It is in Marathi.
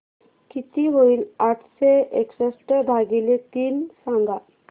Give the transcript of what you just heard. किती होईल आठशे एकसष्ट भागीले तीन सांगा